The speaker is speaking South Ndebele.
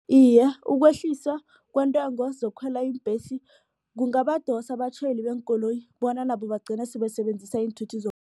Iye, ukwehliswa kweentengo zokukhwela iimbhesi kungabadosa abatjhayeli beenkoloyi bona nabo bagcine sele basebenzisa iinthuthi